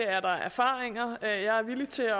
er der erfaringer jeg er villig til at